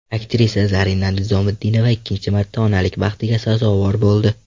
Aktrisa Zarina Nizomiddinova ikkinchi marta onalik baxtiga sazovor bo‘ldi.